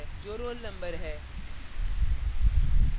जो roll number है